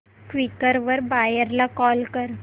Quikr वर buyer ला call कर